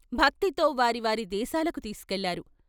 భక్తితో వారి వారి దేశాలకు తీసు కెళ్ళారు.